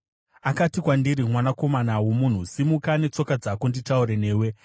Akati kwandiri, “Mwanakomana womunhu, simuka netsoka dzako nditaure newe.”